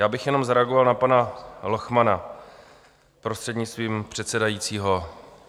Já bych jenom zareagoval na pana Lochmana, prostřednictvím předsedajícího.